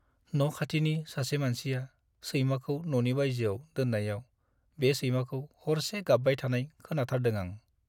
न' खाथिनि सासे मानसिया सैमाखौ न'नि बायजोआव दोन्नायाव बे सैमाखौ हरसे गाब्बाय थानाय खोनाथारदों आं।